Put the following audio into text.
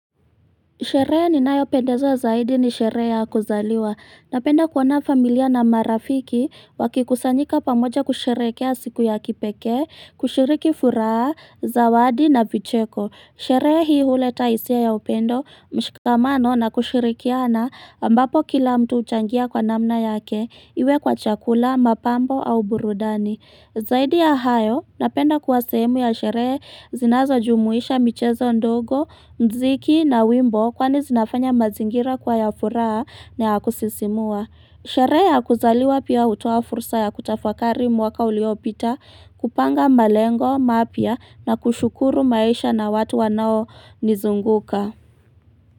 Sherehe ninayopendezwa zaidi ni sherehe ya kuzaliwa, napenda kuona familia na marafiki wakikusanyika pamoja kusherehekea siku ya kipekee, kushiriki furaha, zawadi na vicheko, sherehe hii huleta hisia ya upendo mshikamano na kushirikiana ambapo kila mtu huchangia kwa namna yake, iwe kwa chakula, mapambo au burudani. Zaidi ya hayo, napenda kuwa sehemu ya sherehe zinazojumuisha michezo ndogo, mziki na wimbo kwani zinafanya mazingira kuwa ya furaha na ya kusisimua. Sherehe ya kuzaliwa pia hutoa fursa ya kutafakari mwaka uliopita, kupanga malengo, mapya na kushukuru maisha na watu wanaonizunguka.